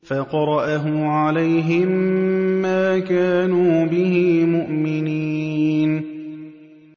فَقَرَأَهُ عَلَيْهِم مَّا كَانُوا بِهِ مُؤْمِنِينَ